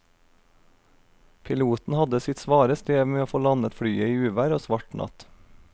Piloten hadde sitt svare strev med å få landet flyet i uvær og svart natt.